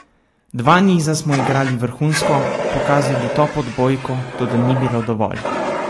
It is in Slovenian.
Dva niza smo igrali vrhunsko, pokazali top odbojko, toda ni bilo dovolj.